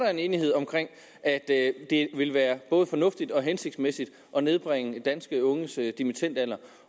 er en enighed om at det vil være både fornuftigt og hensigtsmæssigt at nedbringe danske unges dimittendalder